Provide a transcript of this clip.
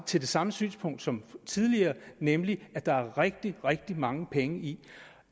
til det samme synspunkt som tidligere nemlig at der er rigtig rigtig mange penge i